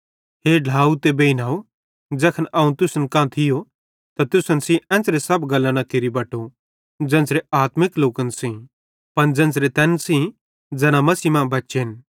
हे ढ्लाव ते बेइनव ज़ैखन अवं तुसन कां थियो त तुसन सेइं एन्च़रे सब गल्लां न केरि बटो ज़ेन्च़रे आत्मिक लोकन सेइं पन ज़ेन्च़रे तैन सेइं ज़ैना मसीह मां बच्चेन